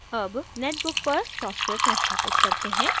अब netbook पर software संस्थापित करते हैं